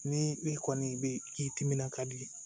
Ni e kɔni be k'i timina ka di